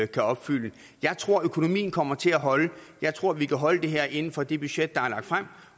kan opfylde jeg tror at økonomien kommer til at holde jeg tror vi kan holde det her inden for det budget der er lagt frem